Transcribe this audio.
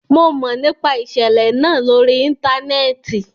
Mo mọ nipa iṣẹlẹ naa lori íńtánẹ́ẹ̀tì